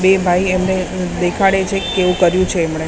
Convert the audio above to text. બે ભાઈ એમને અ દેખાડે છે કેવું કર્યું છે એમણે.